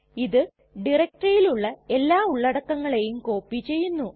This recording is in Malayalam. ഇത് ഡയറക്ടറിയിലുള്ള എല്ലാ ഉള്ളടക്കങ്ങളെയും കോപ്പി ചെയ്യുന്നു